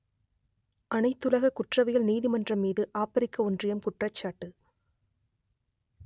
அனைத்துலக குற்றவியல் நீதிமன்றம் மீது ஆப்பிரிக்க ஒன்றியம் குற்றச்சாட்டு